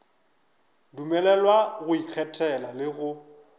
dumelelwa go ikgethela le go